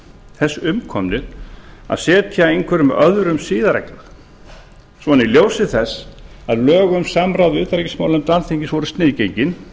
þess umkomnir að setja einhverjum öðrum siðareglur svona í ljósi þess að lög um samráð við utanríkismálanefnd alþingis voru sniðgengin